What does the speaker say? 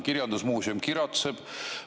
Kirjandusmuuseum kiratseb.